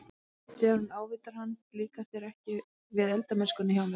Þegar hún ávítaði hann- Líkar þér ekki við eldamennskuna hjá mér?